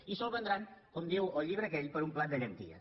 i se’l vendran com diu el llibre aquell per un plat de llenties